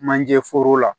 Manje foro la